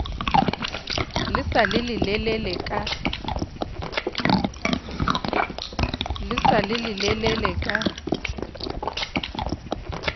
le sa le lelelele ka